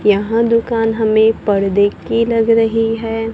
यहां दुकान हमें पर्दे की लग रही है।